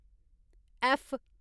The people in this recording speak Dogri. ऐफ्फ